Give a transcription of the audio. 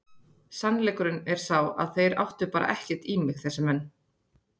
Sannleikurinn er sá að þeir áttu bara ekkert í mig þessir menn.